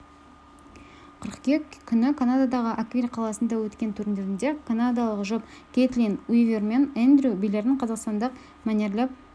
қыркүйек күні канададағы оквилл қаласында өткен турнирінде канадалық жұп кэйтлин уивер мен эндрю билерін қазақстандық мәнерлеп